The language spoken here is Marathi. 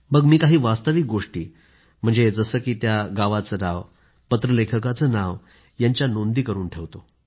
मग मी काही वास्तविक गोष्टी म्हणजे जसं की त्या गावाचे नाव पत्रलेखकाचं नाव यांच्या नोंदी करून ठेवतो